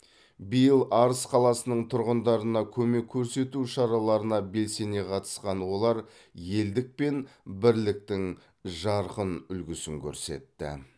биыл арыс қаласының тұрғындарына көмек көрсету шараларына белсене қатысқан олар елдік пен бірліктің жарқын үлгісін көрсетті